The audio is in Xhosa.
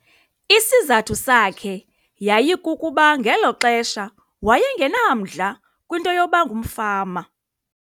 Isizathu sakhe yayikukuba ngelo xesha waye ngenamdla kwinto yokuba ngumfama.